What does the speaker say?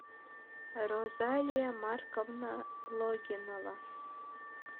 розалия марковна логинова